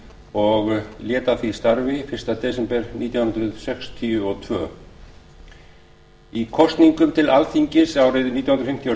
og lét af því starfi fyrsta desember nítján hundruð sextíu og tvö í kosningum til alþingis árið nítján hundruð fimmtíu og